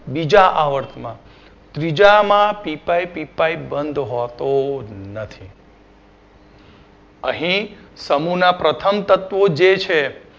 બીજા આવર્તમાં ત્રીજામાં પી પાઇ પી પાઇ બંધ હોતો નથી અહી સમૂહના પ્રથમ તત્વો જે છે